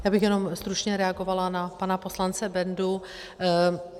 Já bych jenom stručně reagovala na pana poslance Bendu.